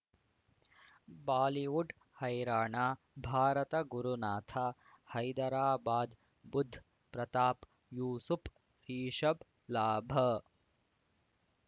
Bollywood ಹೈರಾಣ ಭಾರತ ಗುರುನಾಥ ಹೈದರಾಬಾದ್ ಬುಧ್ ಪ್ರತಾಪ್ ಯೂಸುಪ್ ರಿಷಬ್ ಲಾಭ